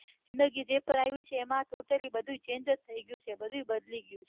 જિંદગી જે પન આવી છે એમાં બઘુ totalij change થઈ ગયું છે બઘુ બદલી ગયું છે